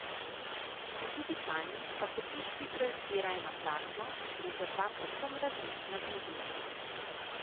Pri digitalni pa se piksli projicirajo na platno, gre za dva povsem različna medija.